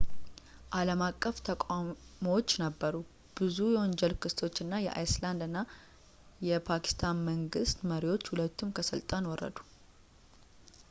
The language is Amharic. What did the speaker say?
አልም አቀፍ ተቃውሞዎቹ ነበሩ ብዙ የወንጀል ክሶች እና የአይስላንድ እና የፓኪስታን መንግስት መሪዎች ሁለቱም ከስልጣን ወረዱ